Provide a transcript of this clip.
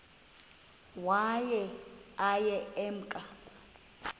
waye aye emke